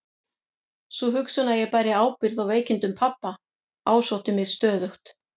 Sú hugsun að ég bæri ábyrgð á veikindum pabba ásótti mig stöðugt.